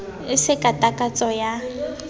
e se ka takatso ya